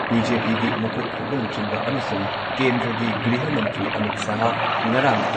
ꯕꯤ.ꯖꯦ.ꯄꯤꯒꯤ ꯃꯀꯣꯛ ꯊꯣꯡꯕ ꯂꯨꯆꯤꯡꯕ ꯑꯃꯁꯨꯡ ꯀꯦꯟꯗ꯭ꯔꯒꯤ ꯒ꯭ꯔꯤꯍ ꯃꯟꯇ꯭ꯔꯤ ꯑꯃꯤꯠ ꯁꯍꯥꯍ ꯉꯔꯥꯡ